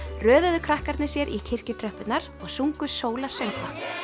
röðuðu krakkarnir sér í og sungu sólarsöngva